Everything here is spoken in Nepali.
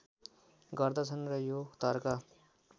गर्दछन् र यो तर्क